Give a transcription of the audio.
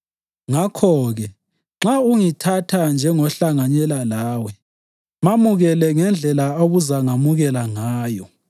Ngakho-ke, nxa ungithatha njengohlanganyela lawe, mamukele ngendlela obuzangamukela ngayo.